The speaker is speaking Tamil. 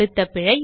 அடுத்த பிழை